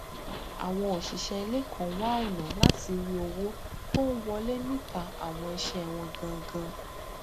àwọn òṣìṣẹ ilé kan wá ọnà láti rí owó tó n wọlé níta àwọn iṣẹ wọn gangan